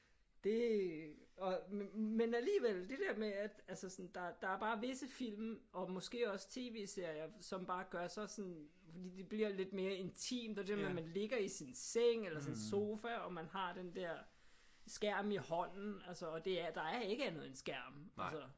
Det og men alligevel det der med at altså sådan der er bare visse film og måske også tv-serier som bare gør sig sådan fordi det bliver lidt mere intimt og det der med at man ligger i sin seng eller sin sofa og man har den der skærm i hånden altså og det er der er ikke andet en skærm altså